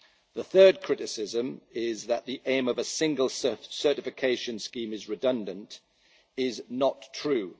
oil. The third criticism, that the aim of a single certification scheme is redundant, is not true.